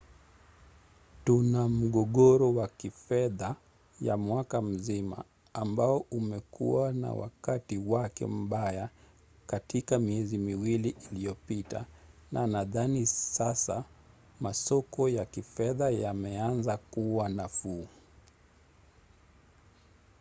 tuna mgogoro wa kifedha ya mwaka mzima ambao umekuwa na wakati wake mbaya katika miezi miwili iliyopita na nadhani sasa masoko ya kifedha yameanza kuwa nafuu.